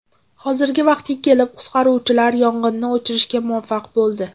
Hozirgi vaqtga kelib qutqaruvchilar yong‘inni o‘chirishga muvaffaq bo‘ldi.